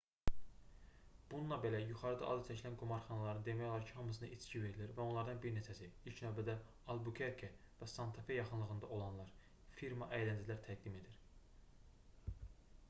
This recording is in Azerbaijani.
bununla belə yuxarıda adı çəkilən qumarxanaların demək olar ki hamısında içki verilir və onlardan bir neçəsi ilk növbədə albukerke və santa fe yaxınlığında olanlar firma əyləncələr təqdim edir